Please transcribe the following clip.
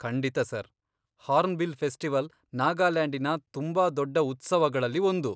ಖಂಡಿತ sir! Hornbill festival ನಾಗಾಲ್ಯಾಂಡಿನ ತುಂಬಾ ದೊಡ್ಡ ಉತ್ಸವಗಳಲ್ಲಿ ಒಂದು.